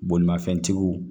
Bolimafɛntigiw